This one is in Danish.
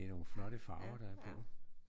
Det er nogle flotte farver der er på